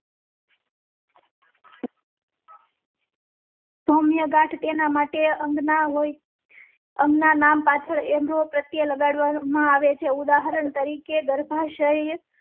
સૌમ્ય ગાંઠ તેના માટે અંગના હોય. અંગ ના નામ પાછળ એમ્રો પ્રત્યે લગાડવા માં આવે છે. ઉદાહરણ તરીકે ગર્ભાશય